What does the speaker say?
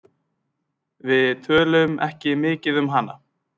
Við tölum ekki mikið um hana.